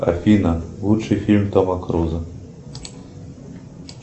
афина лучший фильм тома круза